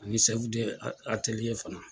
Ani fana.